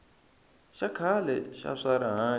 xa khale xa swa rihanyo